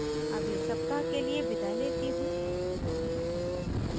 अगले सप्ताह के लिए विदा लेती हूँ